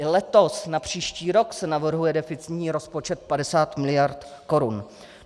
I letos na příští rok se navrhuje deficitní rozpočet 50 miliard korun.